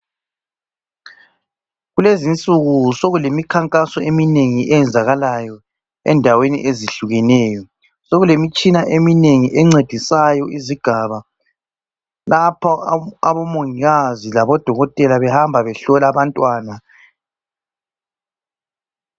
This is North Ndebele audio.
Kulezinsuku sokulemikhankaso eminengi eyenzakalayo endaweni ezihlukeneyo, sokulemitshina eminengi encedisayo izigaba lapha abomongikazi labodokotela behamba behlola abantwana.